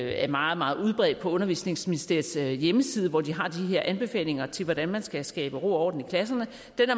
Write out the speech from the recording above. er meget meget udbredt på undervisningsministeriets hjemmeside hvor de har de her anbefalinger til hvordan man skal skabe ro og orden i klasserne